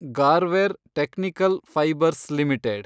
Garware Technical Fibres limited